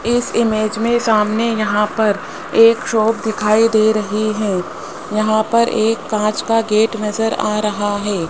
इस इमेज मे सामने यहां पर एक शॉप दिखाई दे रही है यहां पर एक कांच का गेट नज़र आ रहा है।